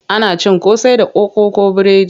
Ana cin akara da koko ko biredi.